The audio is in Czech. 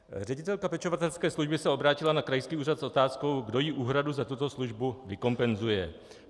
Ředitelka pečovatelské služby se obrátila na krajský úřad s otázkou, kdo jí úhradu za tuto službu vykompenzuje.